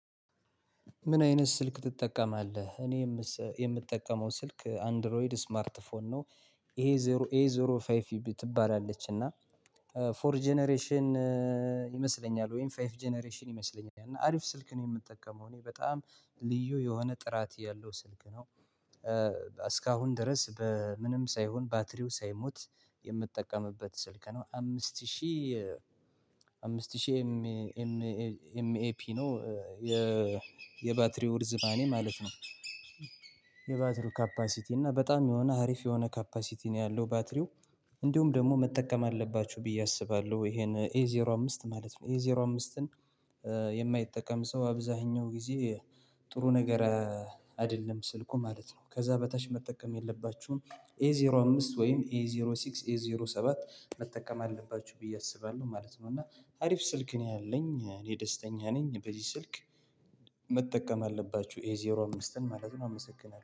ምን አይነት ስልክ ትጠቀማለህ? እኔ የምጠቀመው ስልክ አንድሮይድ ስማርት ፎን ነው። ይሄ ዜሮ ኤ ዜሮ ፋይቭ ትባላለች እና ፎር ጀነሬሽን ይመስለኛል። ወይም ፋይቭ ጀነሬሽን ይመስለኛል እና አሪፍ ስልክ ነው የምጠቀመው። እኔ በጣም ልዩ የሆነ ጥራት ያለው ስልክ ነው። እስካሁን ድረስ በምንም ሳይሆን ባትሪው ሳይሞት የምጠቀምበት ስልክ ነው። አምስት ሺህ አምስት ሺህ ኤምኤፒ ነው። የባትሪው ርዝማኔ ማለት ነው። የባትሪው ካፓሲቲ እና በጣም የሆነ ሀሪፍ የሆነ ካፓሲቲ ነው ያለው ባትሪው። እንዲሁም ደግሞ መጠቀም አለባችሁ ብዬ አስባለሁ። ይሄን ኤዜሮ አምስት ማለት ነው። ኤዜሮ አምስትን የማይጠቀም ሰው አብዛኛው ጊዜ ጥሩ ነገር አይደለም ስልኩ ማለት ነው። ከዛ በታች መጠቀም የለባችሁም ኤዜሮ አምስት ወይም ኤዜሮ ሲክስ ኤዜሮ ሰባት መጠቀም አለባችሁ ብዬ አስባለሁ ማለት ነው። እና አሪፍ ስልክ ነው ያለኝ እኔ ደስተኛ ነኝ። በዚህ ስልክ መጠቀም አለባችሁ ኤዜሮ አምስትን ማለት ነው። አመሰግናለሁ